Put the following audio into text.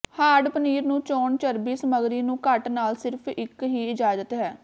hard paneer ਨੂੰ ਚੋਣ ਚਰਬੀ ਸਮੱਗਰੀ ਨੂੰ ਘੱਟ ਨਾਲ ਸਿਰਫ ਇੱਕ ਹੀ ਇਜਾਜ਼ਤ ਹੈ